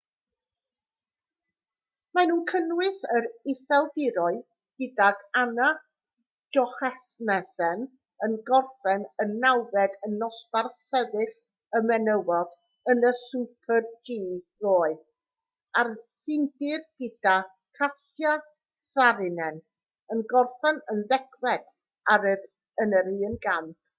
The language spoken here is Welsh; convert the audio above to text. maen nhw'n cynnwys yr iseldiroedd gydag anna jochemsen yn gorffen yn nawfed yn nosbarth sefyll y menywod yn y super-g ddoe a'r ffindir gyda katja saarinen yn gorffen yn ddegfed yn yr un gamp